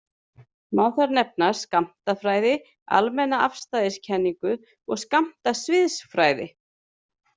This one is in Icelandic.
Má þar nefna skammtafræði, almenna afstæðiskenningu og skammtasviðsfræði.